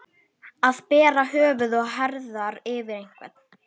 Að bera höfuð og herðar yfir einhvern